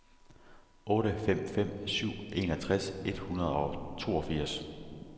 otte fem fem syv enogtres et hundrede og toogfirs